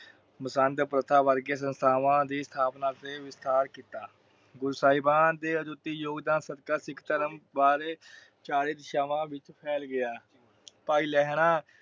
ਮਸੰਦ ਪ੍ਰਥਾ ਵਰਗੀਆਂ ਸੰਸਥਾਮਾ ਤੇ ਵਿਸਤਾਰ ਕੀਤਾ। ਗੁਰੂ ਸਾਹੀਵਾਨ ਦੇ ਅਜੁਤੀ ਯੋਗਦਾਨ ਸਦਕਾ ਸਿੱਖ ਧਰਮ ਬਾਰੇ ਚਾਰੇ ਦਿਸ਼ਾਮਾ ਵਿਚ ਫੈਲ ਗਿਆ। ਭਾਈ ਲਹਿਰਾਂ